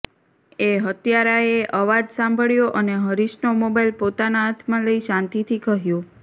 એ હત્યારા એ એ અવાજ સાંભળ્યો અને હરીશનો મોબાઈલ પોતાનાં હાથમાં લઈ શાંતિથી કહ્યું